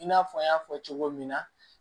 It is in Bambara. I n'a fɔ an y'a fɔ cogo min na